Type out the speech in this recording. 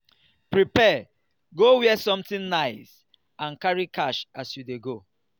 prepare go where something nice and carry cash as you de go